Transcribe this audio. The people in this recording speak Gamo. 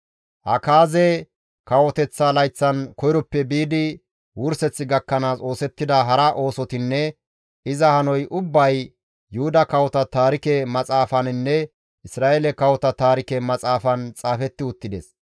Akaaze kawoteththa layththan koyroppe biidi wurseth gakkanaas oosettida hara oosotinne iza hanoy ubbay Yuhuda Kawota taarike maxaafaninne Isra7eele kawota taarike maxaafan xaafetti uttides.